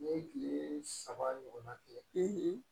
N'i ye kile saba ɲɔgɔn na kɛ